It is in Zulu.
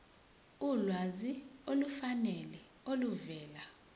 ulwazi olufanele oluvela